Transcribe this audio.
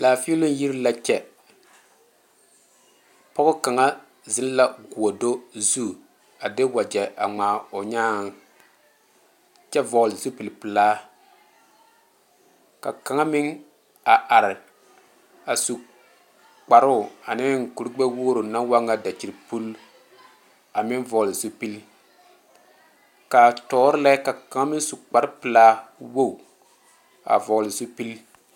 Laafiilɔ yiri la kyɛ pɔge kaŋa zeŋ la gɔɔdo zu a de wagye a ŋmaa o nyaaŋ kyɛ vɔgle zupele pelaa ka kaŋa meŋ a are a su kparo ane kuri gbe wogre naŋ waa kyɛ dakyipul a meŋ vɔgle zupele kaa tɔɔre lɛ ka kaŋa meŋ su kpare pelaa wogi a vɔgle zupele.